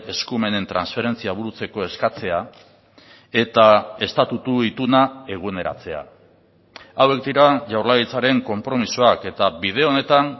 eskumenen transferentzia burutzeko eskatzea eta estatutu ituna eguneratzea hauek dira jaurlaritzaren konpromisoak eta bide honetan